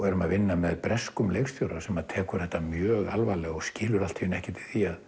erum að vinna með breskum leikstjóra sem tekur þetta mjög alvarlega og skilur ekkert